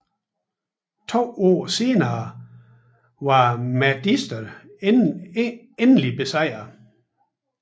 To år senere var mahdisterne endeligt besejrede